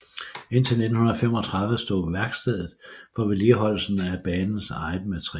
Indtil 1935 stod værkstedet for vedligeholdelsen af banens eget materiel